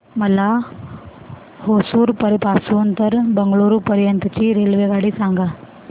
मला होसुर पासून तर बंगळुरू पर्यंत ची रेल्वेगाडी सांगा